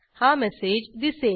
हा मेसेज दिसेल